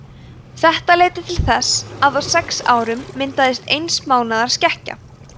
þetta leiddi til þess að á sex árum myndaðist eins mánaðar skekkja